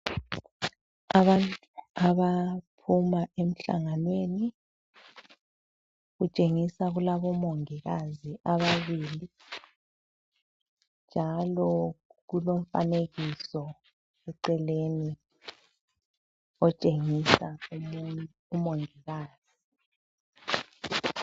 Abantu abaphuma emhlanganweni. Kutshengisa kulabo mongikazi ababili njalo kulomfanekiso eceleni otshengisa umongikazi.